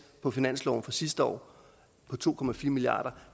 på finansloven fra sidste år på to milliard